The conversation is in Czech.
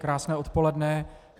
Krásné odpoledne.